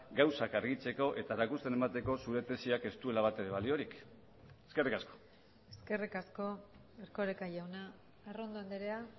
gauzak argitzeko eta erakusten emateko zure tesiak ez duela batere baliorik eskerrik asko eskerrik asko erkoreka jauna arrondo andrea